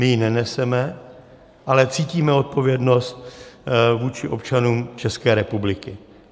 My ji neneseme, ale cítíme odpovědnost vůči občanům České republiky.